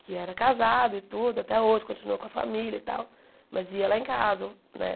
que era casado e tudo, até hoje, continua com a família e tal, mas ia lá em casa, né?